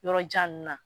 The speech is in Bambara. Yɔrɔjan ninnu na